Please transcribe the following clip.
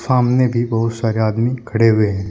आमने भी बहुत सारे आदमी खड़े हुए हैं।